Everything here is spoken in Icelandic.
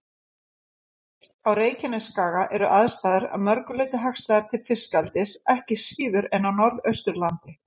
Á Reykjanesskaga eru aðstæður að mörgu leyti hagstæðar til fiskeldis ekki síður en á Norðausturlandi.